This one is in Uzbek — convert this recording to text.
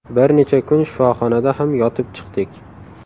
Bir necha kun shifoxonada ham yotib chiqdik.